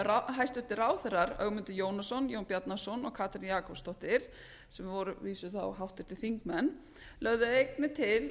efnahagsumrótið hæstvirtir ráðherrar ögmundur jónasson jón bjarnason og katrín jakobsdóttir sem voru að vísu þá háttvirtir þingmenn lögðu einnig til